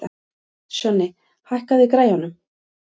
Sjonni, hækkaðu í græjunum.